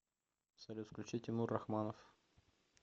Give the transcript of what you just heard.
салют включи тимур рахманов